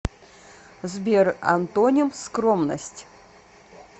сбер антоним скромность